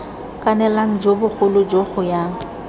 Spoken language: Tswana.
kanelang jo bogolo jo goyang